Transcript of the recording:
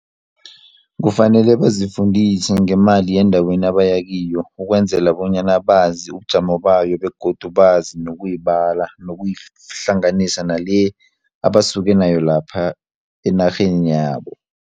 Kufanele bazifundise ngemali yendaweni abaya kiyo ukwenzela bonyana bazi ubujamo bayo begodu bazi nokuyibala nokuyihlanganisa nale abasuke nayo lapha enarheni yabo.